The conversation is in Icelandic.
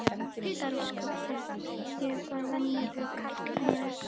Elsku barn, ég er bara venjulegur karlmaður.